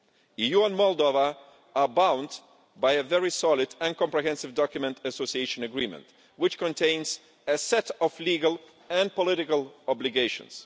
The EU and Moldova are bound by a very solid and comprehensive association agreement document which contains a set of legal and political obligations.